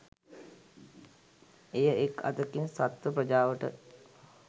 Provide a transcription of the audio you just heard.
එය එක් අතකින් සත්ව ප්‍රජාවට